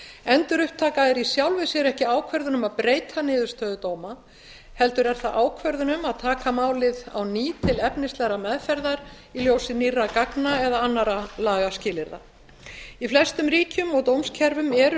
endurupptaka er í sjálfu sér ekki ákvörðun um að breyta niðurstöðu dóma heldur ákvörðun um að taka málið á ný til efnislegrar meðferðar í ljósi nýrra gagna eða annarra lagaskilyrða í flestum ríkjum og dómskerfum eru